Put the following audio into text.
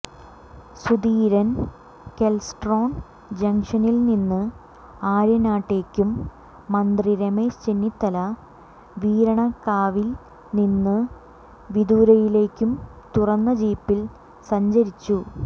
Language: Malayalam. സുധീരൻ കെൽട്രോൺ ജംഗ്ഷനിൽ നിന്ന് ആര്യനാട്ടേക്കും മന്ത്രി രമേശ് ചെന്നിത്തല വീരണകാവിൽ നിന്ന് വിതുരയിലേക്കും തുറന്ന ജീപ്പിൽ സഞ്ചരിച്ചു